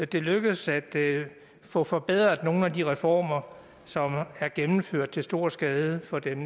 det lykkedes at få forbedret nogle af de reformer som er gennemført til stor skade for dem